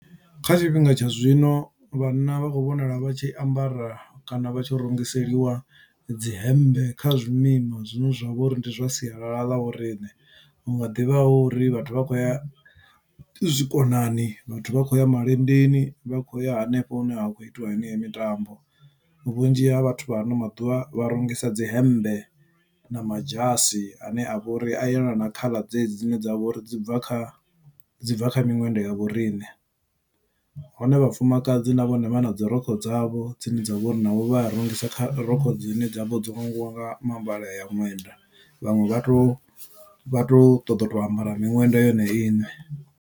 Kha tshifhinga tsha zwino vhanna vha khou vhonala vha tshi ambara kana vha tshi rungiseliwa dzi hembe kha zwimima zwine zwa vha uri ndi zwa sialala ḽa vhoriṋe hu nga ḓivha hu uri vhathu vha khou ya zwikonani vhathu vha khou ya malendeni vha kho ya hanefho hune ha khou itiwa heneyo mitambo vhunzhi ha vhathu vha ano maḓuvha vha rungisa dzi hemmbe na madzhasi ane a vha uri a yelana na khaḽa dzedzi dzine dzavha uri dzi bva kha dzi bva kha miṅwenda ya vhoriṋe. Hone vhafumakadzi na vhone vha na dzirokho dzavho dzine dza vha uri navho vha a rungisa kha rokho dzine dza vha dzo vhangiwa nga mivhala ya ṅwenda vhaṅwe vha tou vha tou ṱoḓa u to ambara miṅwenda yone iṋe.